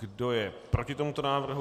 Kdo je proti tomuto návrhu?